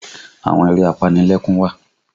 Àwọn eré apanilẹ́kún wà